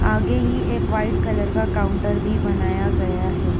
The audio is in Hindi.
आगे ही एक वाइट कलर का काउंटर भी बनाया गया है।